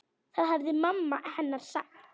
Það hafði mamma hennar sagt.